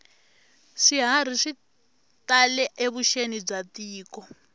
swiharhi swi tale evuxeni bya tiko